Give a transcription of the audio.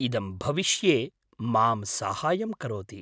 इदं भविष्ये मां साहाय्यं करोति।